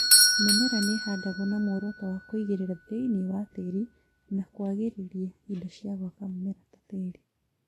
Mĩmera nĩhandagwo na mũoroto wa kũingĩria thĩinĩ wa tĩri na kwagĩrĩria indo cia gwaka mũmera na tĩri